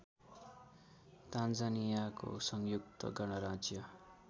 तान्जानियाको संयुक्त गणराज्य